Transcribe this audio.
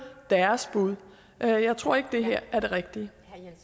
deres bud jeg tror ikke det her er det rigtige